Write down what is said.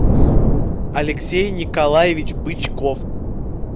алексей николаевич бычков